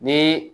Ni